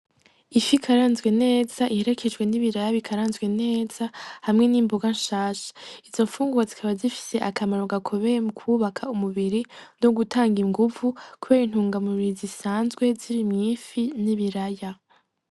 lfi ikaranzwe neza iherekejwe n'ibiraya bikaranzwe neza hamwe n'imboga shasha izo nfungurwa zikaba zifise akamaro gakomeye mu kubaka umubiri no gutanga inguvu kubera intungamubiri zisanzwe ziri mu ifi n'ibiraya.